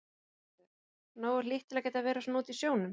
Lillý Valgerður: Nógu hlýtt til að geta verið svona úti í sjónum?